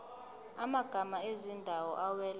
amagama ezindawo awela